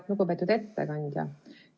Lugupeetud ettekandja!